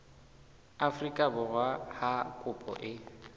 afrika borwa ha kopo e